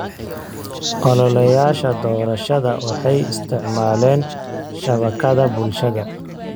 Ololayaasha doorashada waxay isticmaaleen shabakadaha bulshada.